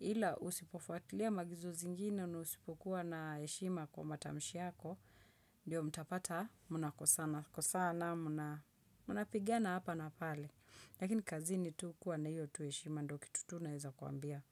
Ila usipofuatilia maagizo zingine, usipokuwa na heshima kwa matamshi yako, ndio mtapata, mnakosana, kosana, munapigana hapa na pale. Lakini kazini tu kuwa na hiyo tu eshima, ndo kitu tu naeza kuambia.